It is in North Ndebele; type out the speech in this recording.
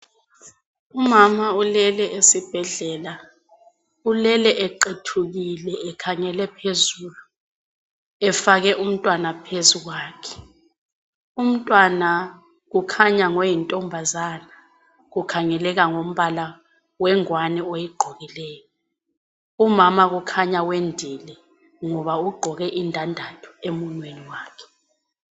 Umama ulele esibhedlela. Ulele eqethukile ekhangele phezulu efake umntwana phezu kwakhe. Umntwana kukhanya ngoyintombazana, kukhangeleka ngombala wengwane ayigqokileyo. Umama kukhanya wendile, ngoba ugqoke indandatho emunweni wakhe.